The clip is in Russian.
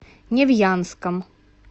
невьянском